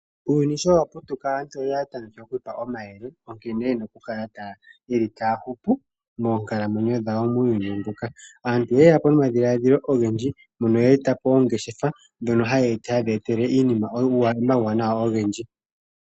Uuyuni sho wa putuka aantu oya tameke oku ipa omayele nkene yena okukala yeli taya hupu moonkalamwenyo dhawo muuyuni mbuka. Aantu oye yapo nomadhiladhilo ogendji mpono ye etapo ongeshefa ndhono ha yedhi ya etele omawuwanawa ogendji